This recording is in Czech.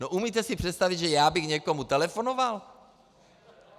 No umíte si představit, že já bych někomu telefonoval?